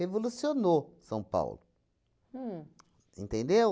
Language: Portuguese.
Revolucionou São Paulo. Uhm. Entendeu?